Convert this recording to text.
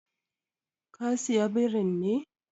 Ka saya birin ne?